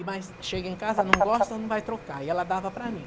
E mais, chega em casa, não gosta, não vai trocar, e ela dava para mim.